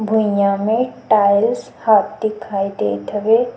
भुइया में tiles half दिखाई देत हवे ।